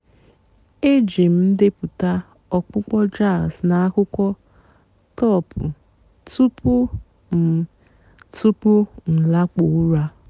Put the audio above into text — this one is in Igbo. èjí m ǹdèpụ́tá ọ̀kpụ́kpọ́ jàzz nà àkwụ́kwọ́ tọ́pụ́ túpú m túpú m làkpụ́ọ́ ụ́rà.